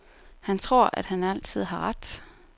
Han tror, at han altid har ret.